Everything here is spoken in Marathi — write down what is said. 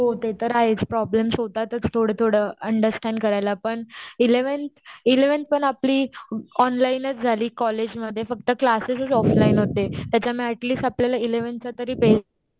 हो ते तर आहे थोड थोड अंडरस्टॅंड करायला पण एलेव्हन्थ एलेव्हन्थ पण आपली ऑनलाइन झाली कॉलेजमध्ये फक्त क्लासेस ऑफलाइन होते त्याच्यामुळे अटलीस्ट आपल्याला इलेव्हन्थचा तरी बेस